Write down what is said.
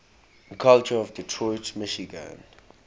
culture of detroit michigan